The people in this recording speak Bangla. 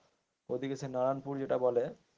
ওইদিকে সে নারায়নপুর যেটা বলে.